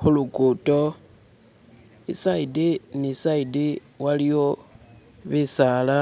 khu'lukuto i'sayidi ni sayidi wa'liyo bi'saala